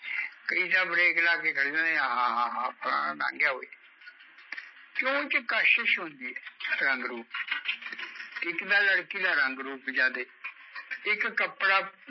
ਕਈ ਜਾਂ ਬ੍ਰੇਕ ਲਾਕੇ ਖੜ ਜਾਂਦੇ ਆਹਾ ਹਾਹਾ ਲੰਗ ਗਿਆ ਬਈ ਕਿਓਕਿ ਕਸ਼ਿਸ਼ ਹੁੰਦੀ ਐ ਰੰਗ ਰੂਪ ਇੱਕ ਤਾਂ ਲੜਕੀ ਦਾ ਰੰਗ ਰੂਪ ਜਿਆਦੇ ਇੱਕ ਕੱਪੜਾ